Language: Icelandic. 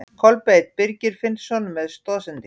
Kolbeinn Birgir Finnsson með stoðsendingu.